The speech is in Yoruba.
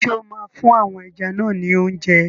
Ṣé o máa fún àwọn ẹja náà ni óúnjẹ?